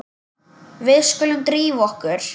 Við skulum drífa okkur.